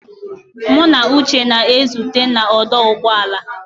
Mụ na Uche na-ezute na ọdụ ụgbọ ala.